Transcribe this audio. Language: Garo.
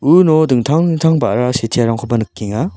uno dingtang dingtang ba·ra sitearangkoba nikenga.